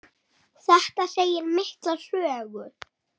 Þetta segir mikla sögu.